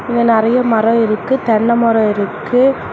இங்க நறைய மரோ இருக்கு தென்ன மரோ இருக்கு.